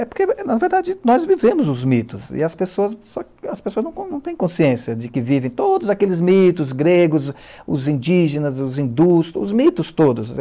É porque, é na verdade, nós vivemos os mitos e as pessoas as pessoas, não têm consciência de que vivem todos aqueles mitos gregos, os indígenas, os hindus, os mitos todos.